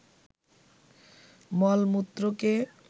মল-মূত্রকে